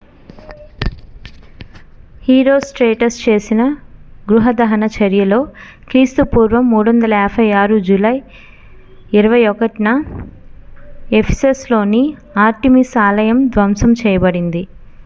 herostratus చేసిన గృహ దహన చర్యలో క్రీస్తుపూర్వం 356 జూలై 21న ephesusలోని artemis ఆలయం ధ్వంసం చేయబడింది